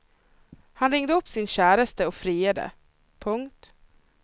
Han ringde upp sin käresta och friade. punkt